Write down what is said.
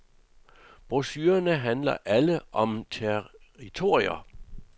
Brochurerne handler alle om territorier.